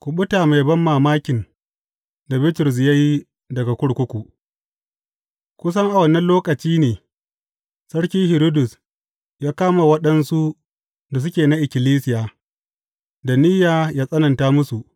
Kuɓuta mai banmamakin da Bitrus ya yi daga kurkuku Kusan a wannan lokaci ne Sarki Hiridus ya kama waɗansu da suke na ikkilisiya, da niyya ya tsananta musu.